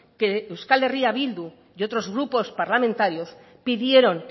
que euskal herria bildu y otros grupos parlamentarios pidieron